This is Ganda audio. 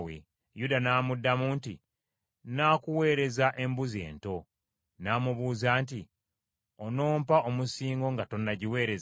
Yuda n’amuddamu nti, “Nnaakuweereza embuzi ento.” N’amubuuza nti, “Onompa omusingo nga tonnagimpeereza?”